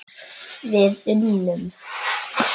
Við unnum!